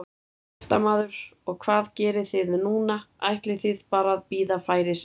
Fréttamaður: Og hvað gerið þið núna, ætlið þið bara að bíða færis eða?